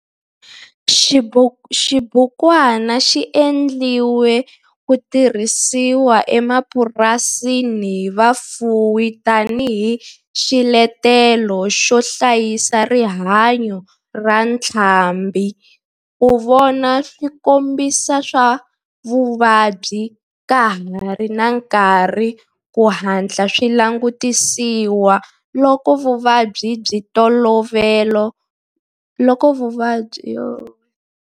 Xibukwana xi endliwe ku tirhisiwa emapurasini hi vafuwi tani hi xiletelo xo hlayisa rihanyo ra ntlhambhi, ku vona swikombiso swa vuvabyi ka ha ri na nkarhi ku hatla swi langutisiwa loko vuvabyi bya ntolovelo kumbe swiyimo swi humelela eka swifuwo, na ku va xitirhisiwa xo tirhiseka eka vatirhi tani hi loko va hlangana na vafuwi van'wana.